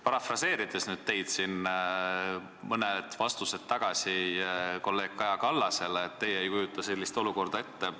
Parafraseerin nüüd teie sõnu, mida te ütlesite mõni vastus tagasi kolleeg Kaja Kallasele, et teie ei kujuta sellist olukorda ette.